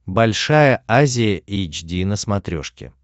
большая азия эйч ди на смотрешке